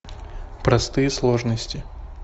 простые сложности